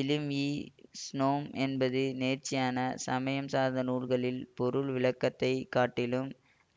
இலிம்இஷ்னோம் என்பது நேர்ச்சரியான சமயம் சார்ந்த நூல்களின் பொருள் விளக்கத்தைக் காட்டிலும்